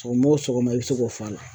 Sɔgɔma o sɔgɔma i bɛ se k'o f'a la